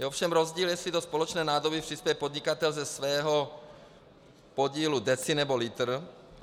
Je ovšem rozdíl, jestli do společné nádoby přispěje podnikatel ze svého podílu deci, nebo litr.